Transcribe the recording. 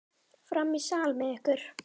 Fram í sal með ykkur!